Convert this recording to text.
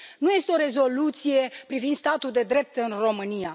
Nu este o rezoluție privind statul de drept în România.